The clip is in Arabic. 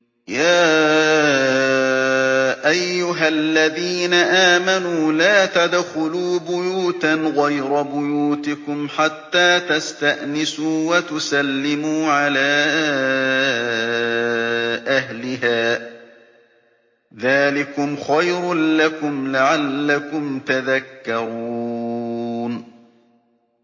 يَا أَيُّهَا الَّذِينَ آمَنُوا لَا تَدْخُلُوا بُيُوتًا غَيْرَ بُيُوتِكُمْ حَتَّىٰ تَسْتَأْنِسُوا وَتُسَلِّمُوا عَلَىٰ أَهْلِهَا ۚ ذَٰلِكُمْ خَيْرٌ لَّكُمْ لَعَلَّكُمْ تَذَكَّرُونَ